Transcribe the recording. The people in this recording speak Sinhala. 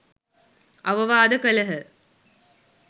අවවාද කළහ.